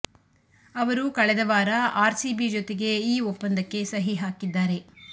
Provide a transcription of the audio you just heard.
ಅವರು ಕಳೆದ ವಾರ ಆರ್ಸಿಬಿ ಜೊತೆಗೆ ಈ ಒಪ್ಪಂದಕ್ಕೆ ಸಹಿ ಹಾಕಿದ್ದಾರೆ